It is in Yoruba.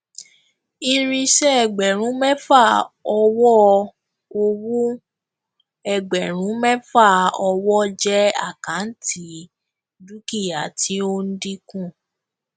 irinṣẹ ẹgbẹrún mẹfà owó ọwọ ẹgbẹrún mẹfà owó jẹ àkáǹtì dúkìá tí ó ń dínkù